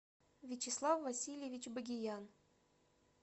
вячеслав васильевич багиян